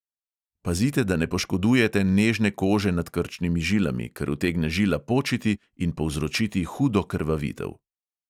Pazite, da ne poškodujete nežne kože nad krčnimi žilami, ker utegne žila počiti in povzročiti hudo krvavitev.